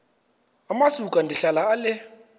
amasuka ndihlala ale